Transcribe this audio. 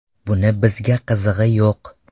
Buni bizga qizig‘i yo‘q.